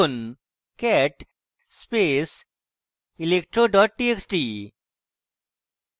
cat space electro txt